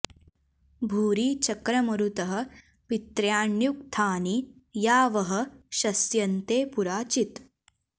भूरि चक्र मरुतः पित्र्याण्युक्थानि या वः शस्यन्ते पुरा चित्